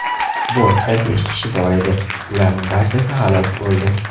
Bortda besh kishi bor edi, ularning barchasi halok bo‘ldi.